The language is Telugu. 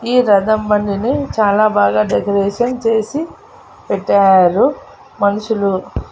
ఈ రథం బండిని చాలా బాగా డెకరేషన్ చేసి పెట్టారు మనుషులు.